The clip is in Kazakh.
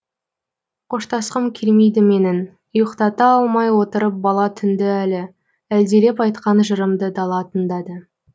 қоштасқым келмейді менің ұйықтата алмай отырып бала түнді әлі әлдилеп айтқан жырымды дала тыңдады